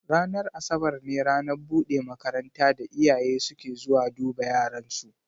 Ranar Asabar ne ranar buɗe makaranta da iyaye suke zuwa duba yaran su.